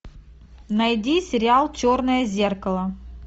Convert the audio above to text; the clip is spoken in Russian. найди сериал черное зеркало